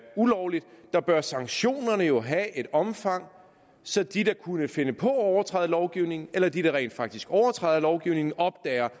ulovlig bør sanktionerne jo have et omfang så de der kunne finde på at overtræde lovgivningen eller de der rent faktisk overtræder lovgivningen opdager